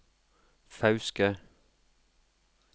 Fauske